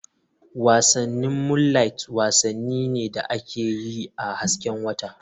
Wasannin Moonliht wasanni ne da ake yi a hasken wata/